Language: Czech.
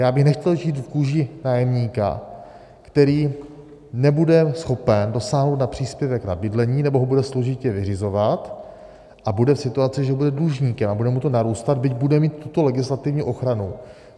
Já bych nechtěl žít v kůži nájemníka, který nebude schopen dosáhnout na příspěvek na bydlení nebo ho bude složitě vyřizovat a bude v situaci, že bude dlužníkem, a bude mu to narůstat, byť bude mít tuto legislativní ochranu.